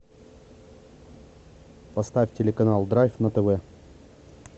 поставь телеканал драйв на тв